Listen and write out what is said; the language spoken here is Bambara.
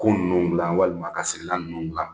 Ku ninnu dilan walima ka sigilan ninnu dilan